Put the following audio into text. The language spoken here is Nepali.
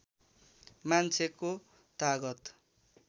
मान्छेको तागत